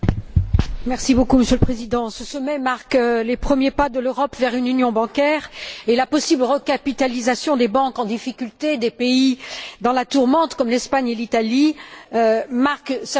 Monsieur le Président, ce sommet marque les premiers pas de l'Europe vers une union bancaire et la possible recapitalisation des banques en difficulté des pays dans la tourmente, comme l'Espagne et l'Italie, marque certainement une avancée.